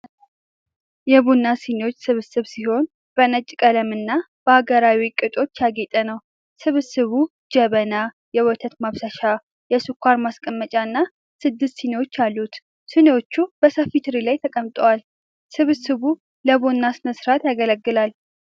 የቡና ስኒዎች ስብስብ ሲሆን በነጭ ቀለምና በሀገራዊ ቅጦች ያጌጠ ነው። ስብስቡ ጀበና፣ የወተት ማፍሰሻ፣ የስኳር ማስቀመጫ እና ስድስት ስኒዎች አሉት። ስኒዎቹ በሰፊ ትሪ ላይ ተቀምጠዋል። ስብስቡ ለቡና ሥነ ሥርዓት ያገለግላል።